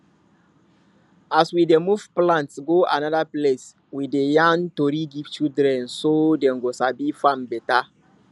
as we dey move plant go another place we dey yarn tori give children so dem go sabi farm better